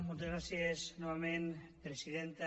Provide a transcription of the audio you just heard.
moltes gràcies novament presidenta